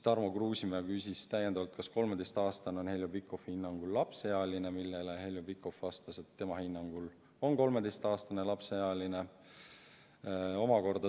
Tarmo Kruusimäe küsis täiendavalt, kas 13-aastane on Heljo Pikhofi hinnangul lapseealine, millele Heljo Pikhof vastas, et tema hinnangul on 13-aastane lapseealine.